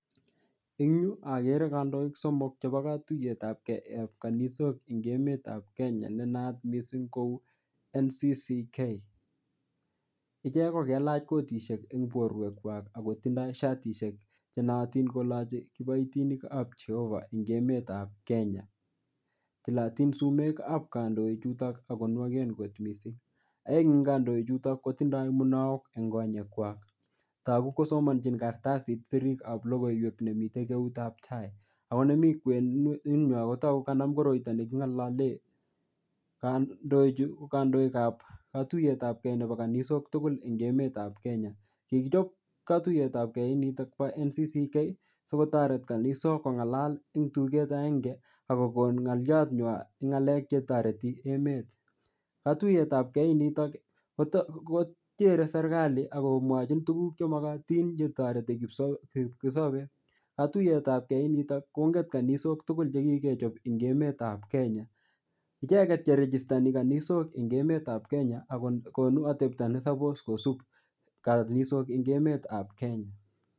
Eng yu akere kandoik somok chepo katuyetapge ap kanisok eng emetap Kenya nenaat missing kou NCCK icheck kokelach kotisiek en borwekwak ako kotindoo shatiek chenootin kolochi kiboitinikap jehovah en emetap Kenya tilotin sumekap kandoichutok akonwoken kot missing aeng en kandoichutok kotindoo munaok eng konyekwak toku kosomonjin kartasit sirikap logoiwek nemi eng eutap tai ako nemii kwenunywan kotokuk kanam koroito neking'ololen kandoichu ko kandoikap katuiyetapge ne po kanisok tugul eng emetap Kenya kikichop katuiyetapge inito po NCCK sikotoret kanisok kong'alal eng tuket aenge akokon ng'olianywan eng ng'alek chetoreti emet katuiyetapge initok kochere serikali akomwochin tukuk chemokotin chetoreti kipkosobe katuiyetapge inito kongen kanisok tugul chekikechop eng emetap Kenya icheket cheregistani eng emetap kenya akokonu atepto nesopos kosip kanisok eng emetap kenya.